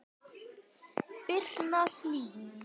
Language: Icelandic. Birna Hlín.